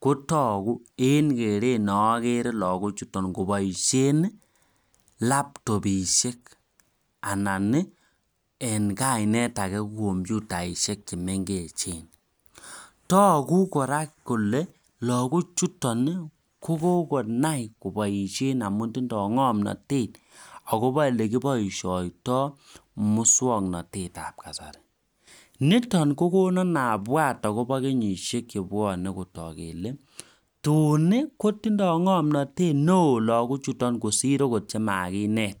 kotagu en olakere lagok chuton kobaishen labtobishek anan en kainet age kekuren computaishek chemengechen togu kora kele lagok chuton konai kobaishen amun tinye ngamnatet akoba olekibaishoitoi muswaknatet ab kasari niton kokonon abwati akoba kenyishek chebwanen tun koitindoi ngamnatet neon lagok kosir okot chemakinet